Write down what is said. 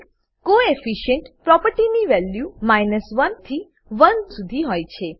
coefficient coefficient પ્રોપર્ટીની value 100 થી 100 શુધી હોય છે